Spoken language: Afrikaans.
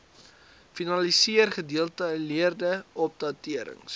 finaliseer gedetailleerde opdaterings